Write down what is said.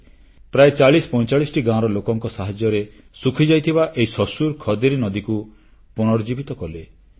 ପ୍ରାୟ 4045 ଟି ଗାଁର ଲୋକଙ୍କ ସାହାଯ୍ୟରେ ଶୁଖିଯାଇଥିବା ଏହି ଶସୁର ଖଦେରୀ ନଦୀକୁ ପନୁର୍ଜୀବିତ କଲେ